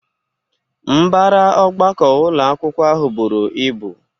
Mbara ọgbakọ ụlọ akwụkwọ ahụ bụru ịbụ